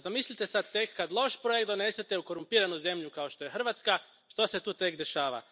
A zamislite sad tek kad loš projekt donesete u korumpiranu zemlju kao što je Hrvatska što se tu tek dešava.